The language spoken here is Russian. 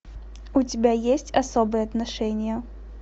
у тебя есть особые отношения